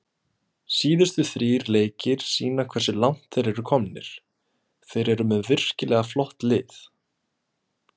Síðustu þrír leikir sýna hversu langt þeir eru komnir, þeir eru með virkilega flott lið.